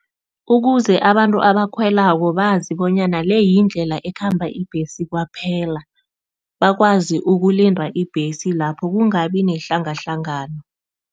Ukuze abantu abakhwelako bazi bonyana le yindlela ekhamba ibhesi kwaphela, bakwazi ukulinda ibhesi lapho kungabi nehlangahlangano.